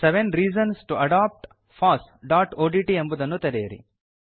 seven reasons to adopt fossಒಡಿಟಿ ಎಂಬುದನ್ನು ತೆರೆಯಿರಿ